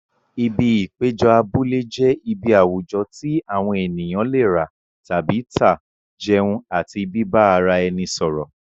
Ibi ìpéjọ abúlé jẹ́ ibi àwùjọ tí àwọn ènìyàn lè rà tàbí tà, jẹun àti bíbá ara ẹni sọ̀rọ̀.